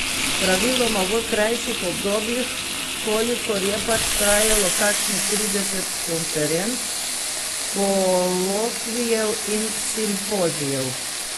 Praviloma v krajših obdobjih, kolikor je pač trajalo kakšnih trideset konferenc, kolokvijev in simpozijev.